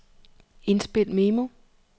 indspil memo